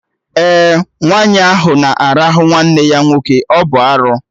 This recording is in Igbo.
Ee, nwaanyị ahụ na arahụ nwanne ya nwoke, ọ bụ arụ